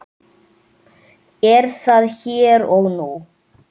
Er það hér og nú?